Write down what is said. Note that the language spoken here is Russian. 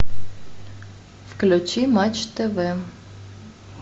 включи матч тв